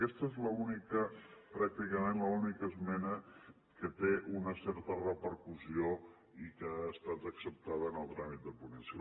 aquesta és pràcticament l’única esmena que té una certa repercussió i que ha estat acceptada en el tràmit de ponència